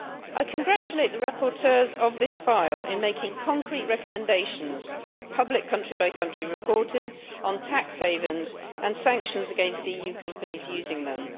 I congratulate the rapporteurs on this file for making concrete recommendations on public country by country reporting, tax havens and sanctions against EU companies using them.